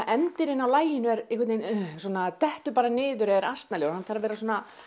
endirinn á laginu er einhvern veginn svona dettur bara niður eða er asnalegur hann þarf að vera